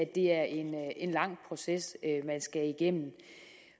det er en lang proces man skal igennem